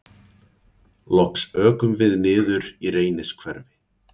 Loks ökum við niður í Reynishverfi.